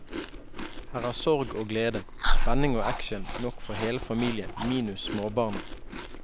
Her er sorg og glede, spenning og action nok for hele familien minus småbarna.